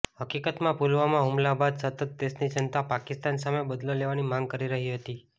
હકીકતમાં પુલવામા હુમલા બાદ સતત દેશની જનતા પાકિસ્તાન સામે બદલો લેવાની માંગ કરી રહી હતી